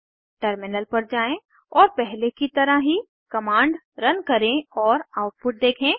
terminal पर जाएँ और पहले की तरह ही कमांड रन करें और आउटपुट देखें